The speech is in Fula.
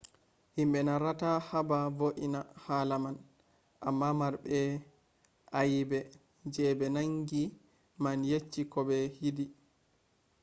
himbe narrata haba vo’ingo hala man amma marbe ayebe je be nangi man yeccai ko be yidi